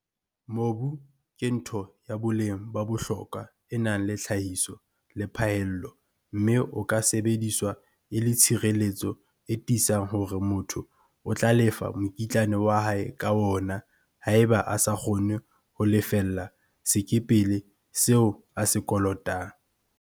Mobu ke ntho ya boleng ba bohlokwa e nang le tlhahiso le phaello mme o ka sebediswa e le tshireletso e tiisang hore motho o tla lefa mokitlane wa hae ka wona haeba a sa kgone ho lefella sekepele seo a se kolotang.